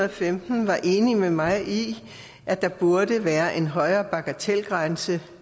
og femten var enige med mig i at der burde være en højere bagatelgrænse